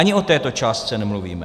Ani o této částce nemluvíme.